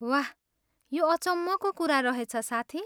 वाह! यो अचम्मको कुरा रहेछ, साथी।